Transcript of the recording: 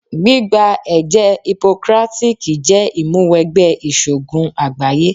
Gbígba ẹ̀jẹ́ Hipokrátíkí jẹ́ ìmúwẹgbẹ́ ìṣògùn àgbáyé.